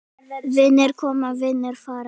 Vinir koma, vinir fara.